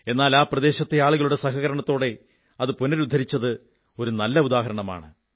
എന്നാൽ ആ പ്രദേശത്തെ ആളുകളുടെ സഹകരണത്തോടെ അത് പുനരുദ്ധരിച്ചത് ഒരു നല്ല ഉദാഹരണമാണ്